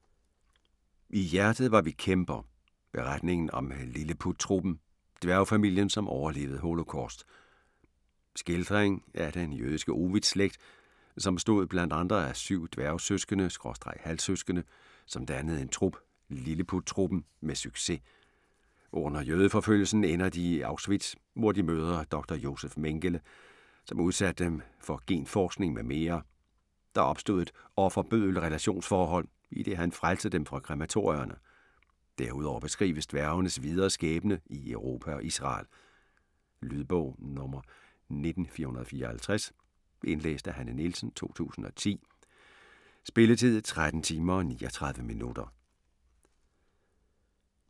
I hjertet var vi kæmper: beretningen om "Lilleput-Truppen" - dværgfamilien som overlevede Holocaust Skildring af den jødiske Ovitz-slægt, som bestod bl.a. af 7 dværgesøskende/halvsøskende som dannede en trup "Lilleput-truppen" med succes. Under jødeforfølgelsen ender de i Auschwitz, hvor de mødte Dr. Josef Mengele, som udsatte dem for genforskning m.m. Der opstod et offer/bøddel relationsforhold, idet han frelste dem fra krematorierne. Derudover beskrives dværgenes videre skæbne i Europa og Israel. Lydbog 19454 Indlæst af Hanne Nielsen, 2010. Spilletid: 13 timer, 39 minutter.